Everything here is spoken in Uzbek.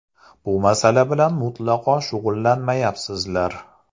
Bu masala bilan mutlaqo shug‘ullanmayapsizlar.